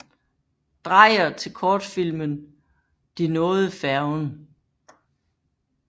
Dreyer til kortfilmen De nåede færgen